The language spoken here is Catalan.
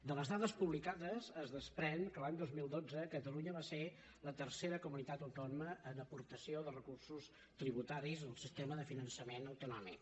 de les dades publicades es desprèn que l’any dos mil dotze catalunya va ser la tercera comunitat autònoma en aportació de recursos tributaris al sistema de finançament autonòmic